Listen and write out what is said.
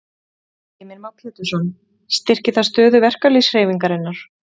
Heimir Már Pétursson: Styrkir það stöðu verkalýðshreyfingarinnar?